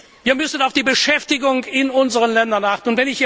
Wir müssen auf die Beschäftigung in unseren Ländern achten.